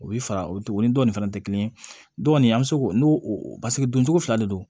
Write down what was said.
O bɛ fara o ni dɔnnin fana tɛ kelen ye dɔni an bɛ se k'o n'o paseke don cogo fila de don